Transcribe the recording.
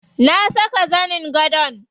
Na saka zanin gadon.